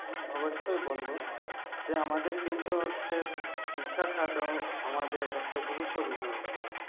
অবশ্যই বলব আমাদের কিন্তু হচ্ছে শিক্ষা খত একটা গুরুত্বপূর্ণ ভিন্ন বিষয় ।